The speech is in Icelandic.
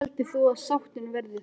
Hver heldur þú að sáttin verði þar?